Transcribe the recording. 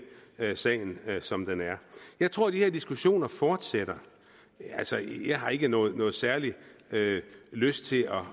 sagen som den er jeg tror de her diskussioner fortsætter jeg har ikke nogen særlig lyst til at